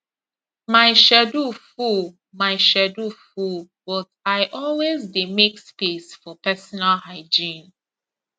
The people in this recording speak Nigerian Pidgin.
my schedule full my schedule full but i always dey make space for personal hygiene